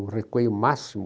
Eu recuei o máximo.